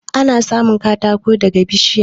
Ana samun katako daga bishiya